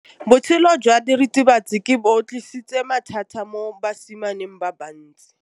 Botshelo jwa diritibatsi ke bo tlisitse mathata mo basimaneng ba bantsi.